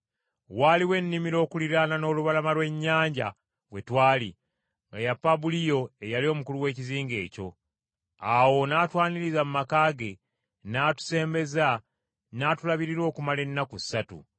Waaliwo ennimiro okuliraana n’olubalama lw’ennyanja we twali, nga ya Pabuliyo eyali omukulu w’ekizinga ekyo. Awo n’atwaniriza mu maka ge n’atusembeza n’atulabirira okumala ennaku ssatu.